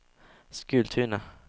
Skultuna